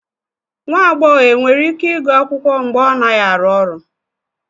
Nwa agbọghọ e nwere ike ịgụ akwụkwọ mgbe ọ naghị arụ ọrụ